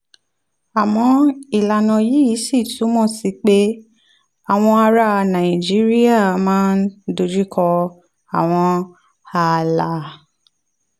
àmọ́ ìlànà yìí ṣì túmọ̀ sí pé àwọn ará nàìjíríà máa ń dojú kọ àwọn ààlà